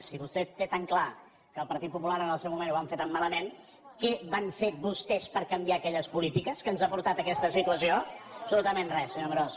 si vostè té tan clar que el partit popular en el seu moment ho vam fer tan malament què van fer vostès per canviar aquelles polítiques que ens han portat a aquesta situació absolutament re senyor amorós